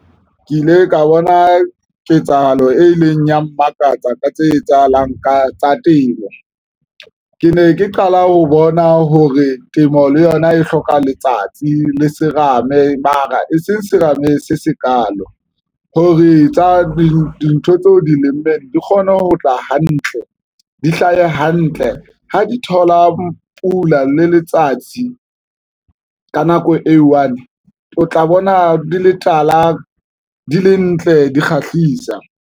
Ke ile ka bona ketsahalo e ileng ya mmakatsa ka tse etsahalang ka tsa temo. Ke ne ke qala ho bona hore temo le yona e hloka letsatsi le serame, mara e seng serame se sekaalo hore tsa dintho tseo di lemeng di kgone ho tla hantle, di hlahe hantle ho di thola pula le letsatsi. Ka nako e one o tla bona di le tala, di le ntle, di kgahlisa.